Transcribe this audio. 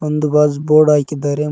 ಒಂದು ಬಾಜ್ ಬೋರ್ಡ್ ಹಾಕಿದ್ದಾರೆ ಮ್--